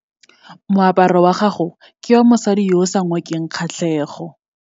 Moaparo wa gagwe ke wa mosadi yo o sa ngokeng kgatlhego.